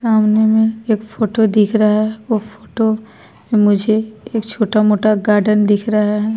सामने में एक फोटो दिख रहा है वो फोटो मुझे एक छोटा-मोटा गार्डन दिख रहा है।